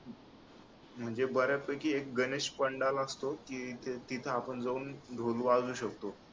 म्हणजे बऱ्यापैकी एक गणेश मंडळ असतो कि तिथे आपण जाऊन ढोल वाजवू शकतो